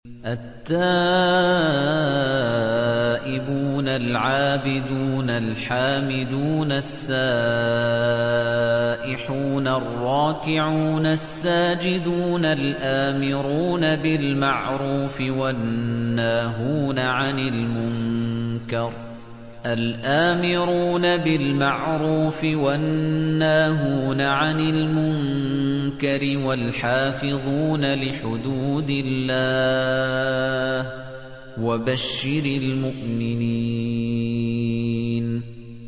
التَّائِبُونَ الْعَابِدُونَ الْحَامِدُونَ السَّائِحُونَ الرَّاكِعُونَ السَّاجِدُونَ الْآمِرُونَ بِالْمَعْرُوفِ وَالنَّاهُونَ عَنِ الْمُنكَرِ وَالْحَافِظُونَ لِحُدُودِ اللَّهِ ۗ وَبَشِّرِ الْمُؤْمِنِينَ